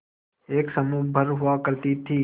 एक समूह भर हुआ करती थी